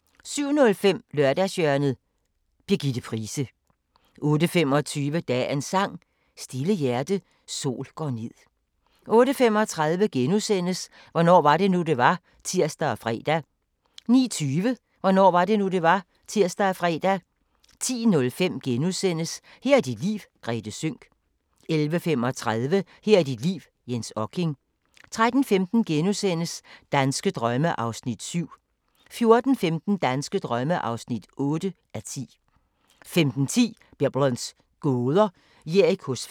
* 07:05: Lørdagshjørnet – Birgitte Price 08:25: Dagens Sang: Stille hjerte, sol går ned 08:35: Hvornår var det nu, det var? *(tir og fre) 09:20: Hvornår var det nu, det var? (tir og fre) 10:05: Her er dit liv - Grethe Sønck * 11:35: Her er dit liv – Jens Okking 13:15: Danske drømme (7:10)* 14:15: Danske drømme (8:10) 15:10: Biblens gåder – Jerikos fald